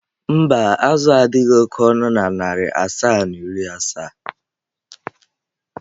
mba, azụ a adịghị oke ọnụ na narị naịra asaa na iri asaa.